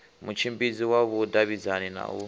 mutshimbidzi wa vhudavhidzani na u